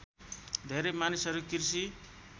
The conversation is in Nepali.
धेरै मानिसहरू कृषि